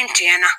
N tiɲɛ na